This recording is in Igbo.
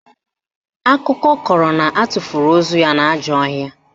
Akụkọ kọrọ na atụfuru ozu ya n'ajọ ọhịa